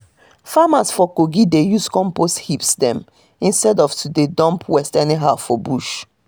farmers for kogi dey use compost heaps dem instead of to dey dump waste anyhow for bush